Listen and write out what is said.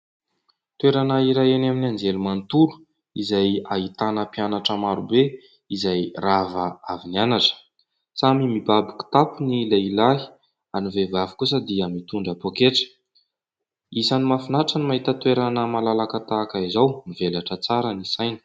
Toerana iray eny amin'ny anjerimanontolo, izay ahitana mpianatra marobe izay rava avy nianatra; samy mibaby kitapo ny lehilahy ary ny vehivavy kosa dia mitondra poketra. Isan'ny mahafinaritra ny mahita toerana malalaka tahaka izao, mivelatra tsara ny saina.